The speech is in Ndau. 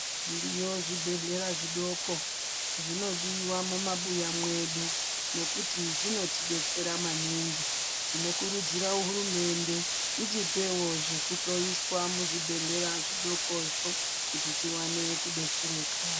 Zviriyo zvibhedlera zvidoko. Zvinodiwa mumabuya mwedu, nekuti zvinotidetsera maningi. Tinokurudzira hurumende, itipewo zvekuhloyiswa muzvibhedhlera zvidokozvo tione kudetsereka.